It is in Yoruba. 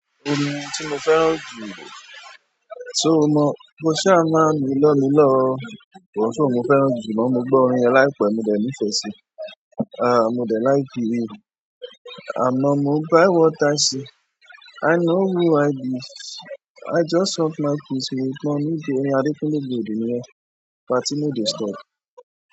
Orin tí mo fẹ́ràn jù so o mọ, ko ṣa a máa minlọminlọ o ko soun mo fẹ́ràn jù náà, mo gbọ́ orin yẹn láìpẹ́, mo dẹ̀ nífẹ̀ẹ́ sí i. Ah, mo dẹ̀ like rẹ̀. 'M not moved by what i see, i know who i be, i just love my peace, make money dey, orin Adekunle Gold ni yẹ́n, party no dey stop.